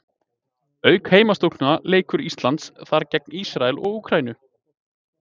Auk heimastúlkna leikur Ísland þar gegn Ísrael og Úkraínu.